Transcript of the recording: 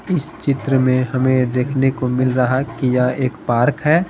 इस चित्र में हमें देखने को मिल रहा है कि यह एक पार्क है।